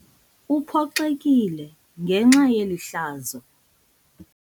Uphoxekile ngenxa yeli hlazo.